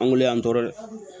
An weele an tɔɔrɔ dɛ